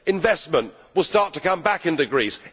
Investment will start to come back into Greece.